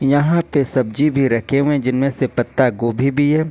यहां पे सब्जी भी रखे हुए जिनमें से पत्ता गोभी भी है।